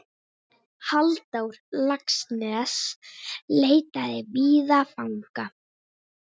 Halldór Laxness leitaði víða fanga.